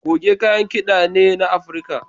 Goge kayan kida ne na Afirka.